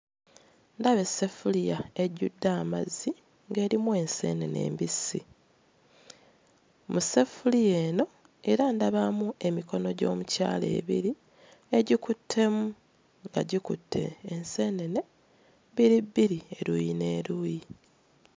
Ndaba esseffuliya ejjudde amazzi ng'erimu enseenene embissi. Mu sseffuliya eno era ndabamu emikono gy'omukyala ebiri egikuttemu nga gikutte enseenene bbiri bbiri, eruuyi n'eruuyi.